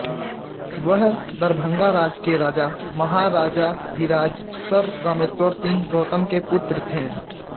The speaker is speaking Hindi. वह दरभंगा राज के राजा महाराजाधिराज सर रामेश्वर सिंह गौतम के पुत्र थें